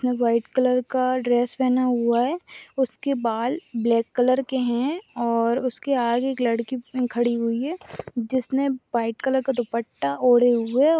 ने white colour का dress पहना हुआ है उसके बाल ब्लैक कलर के है और उसके आगे एक लड़की खड़ी हुई है जिसने वाइट कलर का दुप्पटा ओढ़े हुए --